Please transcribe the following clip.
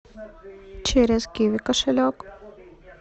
через киви кошелек